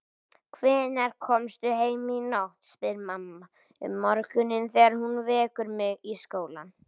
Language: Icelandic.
Hvenær komstu heim í nótt, spyr mamma um morguninn þegar hún vekur mig í skólann.